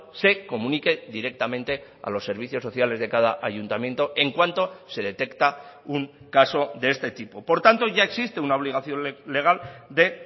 se comunique directamente a los servicios sociales de cada ayuntamiento en cuanto se detecta un caso de este tipo por tanto ya existe una obligación legal de